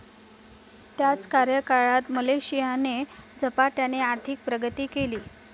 त्याच कार्यकाळात मलेशियाने झपाट्याने आर्थिक प्रगती केली.